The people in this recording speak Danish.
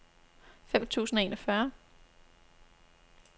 fem tusind og enogfyrre